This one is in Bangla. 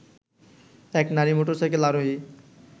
এক নারী মোটরসাইকেল আরোহী